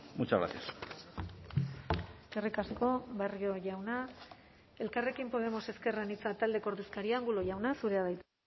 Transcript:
muchas gracias eskerrik asko barrio jauna elkarrekin podemos ezker anitza taldeko ordezkaria angulo jauna zurea da hitza